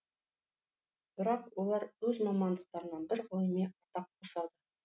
бірақ олар өз мамандықтарына бір ғылыми атақ қосады